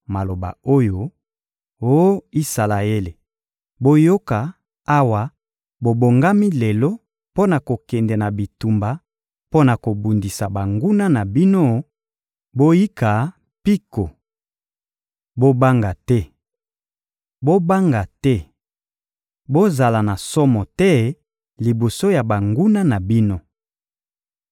maloba oyo: «Oh Isalaele, boyoka, awa bobongami lelo mpo na kokende na bitumba mpo na kobundisa banguna na bino; boyika mpiko! Bobanga te! Bolenga te! Bozala na somo te liboso ya banguna na bino.